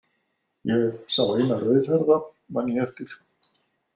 Ég sá eina rauðhærða, man ég eftir.